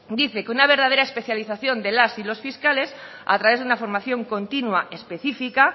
dice que una verdadera especialización de las y los fiscales a través de una formación continua específica